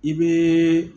I bɛ